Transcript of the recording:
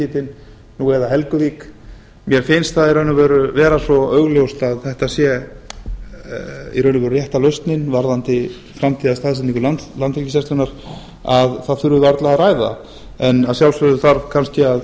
verið nú eða helguvík mér finnst það í raun og veru vera svo augljóst að þetta sé rétta lausnin varðandi framtíðarstaðsetningu landhelgisgæslunnar að það þurfi varla að ræða það en að sjálfsögðu þarf kannski að